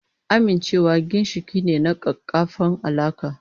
Amincewa ginshiƙi ne na ƙaƙƙarfan alaƙa.